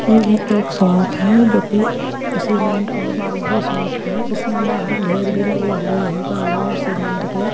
हम्म ये एक शॉप है जो कि सीमेंट और बालू की शॉप है इसमें बाहर ढेर भी लगे हुए है बालू और सीमेंट के।